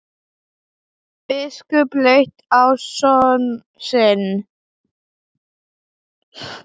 Biskup leit á son sinn.